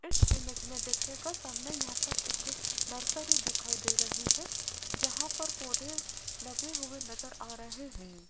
इस इमेज में देखिएगा सामने यहां पर एक नर्सरी दिखाई दे रही है जहां पर पौधे लगे हुए नजर आ रहे हैं।